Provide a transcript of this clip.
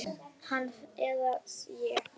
Hann eða ég.